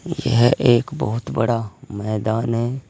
यह एक बहुत बड़ा मैदान है।